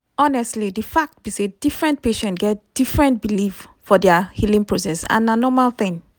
honestly di fact be say different patient get different belief for dia healing process and na normal thing.